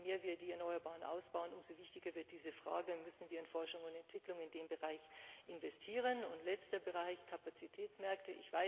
Je mehr wir die Erneuerbaren ausbauen, umso wichtiger wird diese Frage und umso mehr müssen wir in Forschung und Entwicklung in dem Bereich investieren. Und letzter Bereich Kapazitätsmärkte.